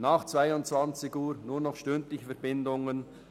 Nach 22.00 Uhr gibt es nur noch stündliche Verbindungen.